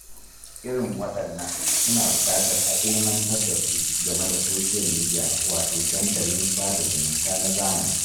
Irin waɗannan suna buƙatar a ilmantar da su game da Soshiyal Midiya wato dandalin sada zumunta na zamani